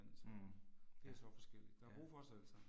Mh, ja, ja